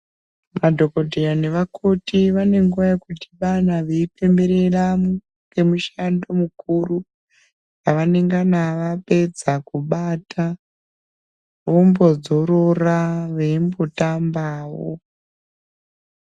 Madhokoteya nevakoti vane nguva yekudhibana veipemberera ngemushando mukuru wevanengana vapedza kubata, vombodzorora veimbotambawo.